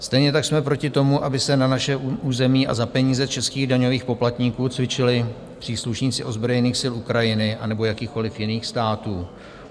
Stejně tak jsme proti tomu, aby se na našem území a za peníze českých daňových poplatníků cvičili příslušníci ozbrojených sil Ukrajiny anebo jakýchkoliv jiných států.